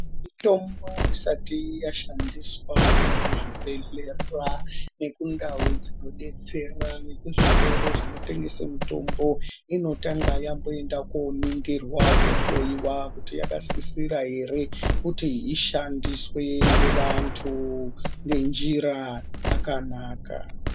Mitombo isati yaishandiswa muzvibhedhlera ngekundau dzinodetsera nemuzvitoro zvinotengese mitombo inotanga yamboenda koningirwa kohloiwa kuti yakasisira ere kuti ishandiswe ngevantu ngenjira yakanaka.